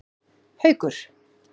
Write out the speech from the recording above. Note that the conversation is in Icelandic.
Haukur